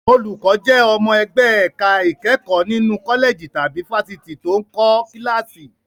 Olùkọ́ jẹ́ ọmọ ẹgbẹ́ ẹ̀ka ìkẹ́kọ̀ọ́ nínú kọ́lẹ̀jì tàbí fáfitì tó ń kọ́ kíláàsì.